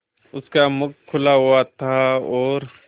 उसका मुख खुला हुआ था और